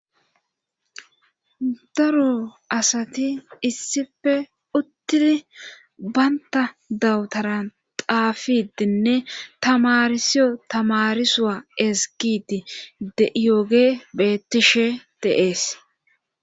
daro asati issife uttidi baynta dawutaran xaafidinne tamarisiyo tamarsiyow ezgidi de'yoge bettishe de'ees